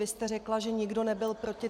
Vy jste řekla, že nikdo nebyl proti.